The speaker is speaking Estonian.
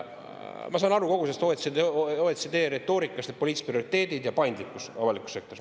Ma saan aru kogu sellest OECD retoorikast, et poliitilised prioriteedid ja paindlikkus avalikus sektoris.